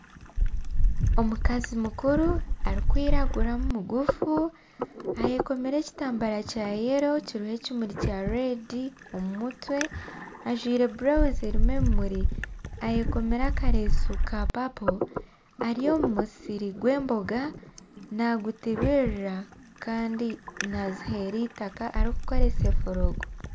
Omukazi mukuru arikwiragura mugufu ayekomire ekitambara Kya yelo kirumu ekimuri kya reedi omu mutwe ajwire burawuzi erimu ebimuri ayekomire akaresu ka papo ari omu musiri gw'emboga nagutibirira kandi naziha itaka arikukoresa foroko.